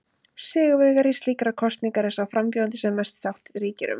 Sigurvegari slíkrar kosningar er sá frambjóðandi sem mest sátt ríkir um.